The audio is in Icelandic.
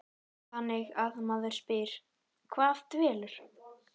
Þannig að maður spyr, hvað dvelur?